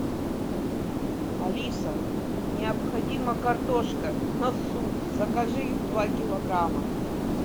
алиса необходима картошка на суп закажи два килограмма